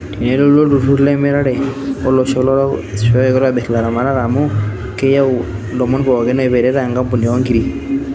Tenelotu olturur lemirare oo losho lorok asishoo na keitobir laramtak amu keyaau lomon pooki oipirta ekampuni oo nkirii